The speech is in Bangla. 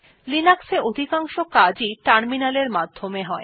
লিনাক্স এ অধিকাংশ কাজ ই টার্মিনাল এর মাধ্যমে হয়